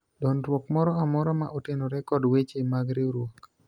dondruok moro amora ma otenore kod weche mag riwruok